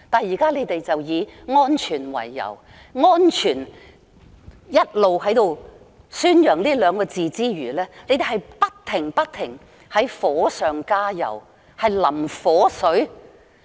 現在，你們以安全為理由，一邊宣揚"安全"這兩個字，還一邊不停地火上加油，把火水